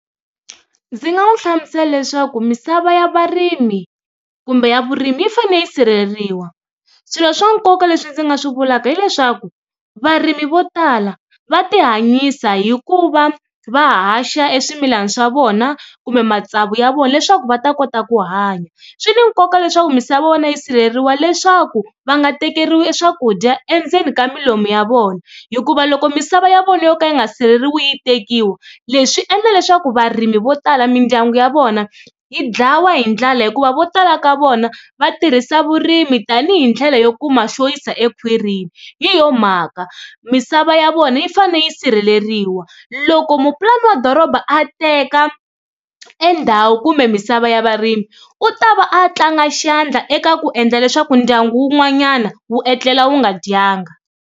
Ndzi nga n'wi hlamusela leswaku misava ya varimi kumbe ya vurimi yi fanele yi sirheleriwa, swilo swa nkoka leswi ndzi nga swi vulaka hileswaku varimi vo tala va ti hanyisa hi ku va va haxa e swimilana swa vona kumbe matsavu ya vona leswaku va ta kota ku hanya, swi ni nkoka leswaku misava ya vona yi sirheleriwa leswaku va nga tekeriwi swakudya endzeni ka milomu ya vona hikuva loko misava ya vona yo ka yi nga sireleriwi yi tekiwa leswi endla leswaku varimi vo tala mindyangu ya vona yi dlawa hi ndlala hikuva vo tala ka vona va tirhisa vurimi tanihi ndlela yo kuma xo yisa ekhwirini. Hi yona mhaka misava ya vona yi fane yi sirheleriwa, loko ko mupulani wa doroba a teka endhawu kumbe misava ya varimi u ta va a tlanga xandla eka ku endla leswaku ndyangu wun'wanyana wu etlela wu nga dyanga.